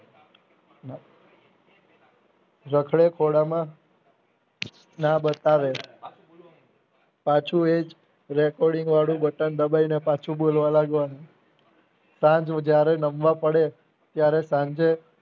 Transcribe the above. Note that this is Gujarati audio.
રખડે ખોડામાં ના બતાવે પાછું એજ recording વાળું બટન દબાવીને પાછું બોલવા લાગવાનું સાંજ જયારે નમવા પડે ત્યારે સાંજે